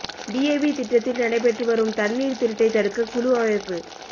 PAP திட்டத்தில் நடைபெற்று வரும் தண்ணீா் திருட்டைத் தடுக்க குழு அமைப்பு